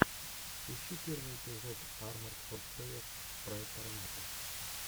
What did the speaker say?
ищи первый эпизод арморд ворфэер проект армата